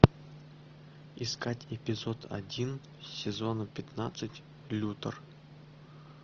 искать эпизод один сезона пятнадцать лютер